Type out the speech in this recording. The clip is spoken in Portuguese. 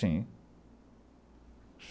Sim.